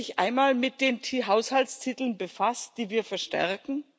Haben Sie sich einmal mit den Haushaltstiteln befasst, die wir verstärken?